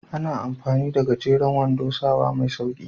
Ana amfani da gajeren wando sawa mai sauƙi.